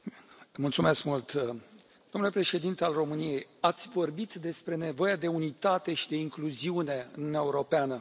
Domnule Președinte, domnule Președinte al României, ați vorbit despre nevoia de unitate și de incluziune în Uniunea Europeană.